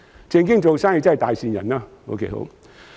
"正經做生意即是大善人。